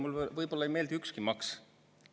Mulle võib-olla ei meeldi ükski maks.